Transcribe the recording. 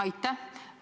Aitäh!